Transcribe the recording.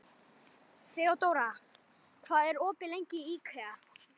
Þeódóra, hvað er opið lengi í IKEA?